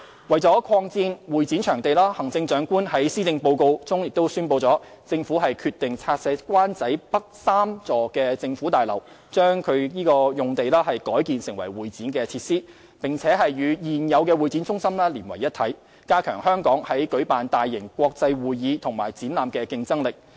為擴展會展場地，行政長官在施政報告中宣布，政府決定拆卸灣仔北3座政府大樓，將該用地改建為會展設施，並與現有會展中心連為一體，加強香港在舉辦大型國際會議及展覽的競爭力。